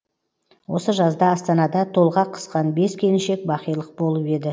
осы жазда астанада толғақ қысқан бес келіншек бақилық болып еді